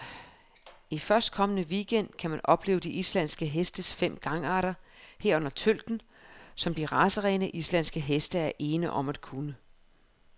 I førstkommende weekend gang kan man opleve de islandske hestes fem gangarter, herunder tølten, som de racerene, islandske heste er ene om at kunne.